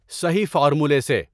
صحیح فارمولے سے